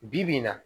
Bi-bi in na